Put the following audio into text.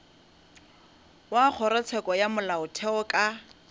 wa kgorotsheko ya molaotheo ka